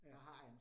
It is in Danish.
Ja